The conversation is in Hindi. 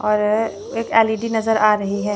और एक एल_इ_डी नजर आ रही है।